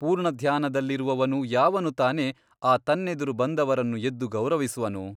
ಪೂರ್ಣಧ್ಯಾನ ದಲ್ಲಿರುವವನು ಯಾವನು ತಾನೇ ಆ ತನ್ನೆದುರು ಬಂದವರನ್ನು ಎದ್ದು ಗೌರವಿಸುವನು?